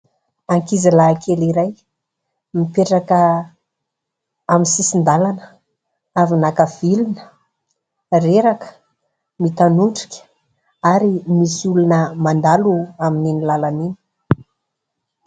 Ankizy lahy kely iray mipetraka amin'ny sisin-dalana avy naka vilona, reraka, mitanotdrika ary misy olona mandalo amin'ny ny lalana iny.